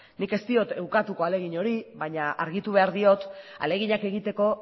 nik ez diot ukatuko ahalegin hori baina argitu behar diot ahaleginak egiteko